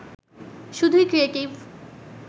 শুধুই ক্রিয়েটিভ